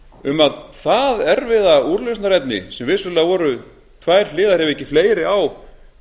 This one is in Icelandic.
um að það erfiða úrlausnarefni sem vissulega voru tvær hliðar ef ekki fleiri á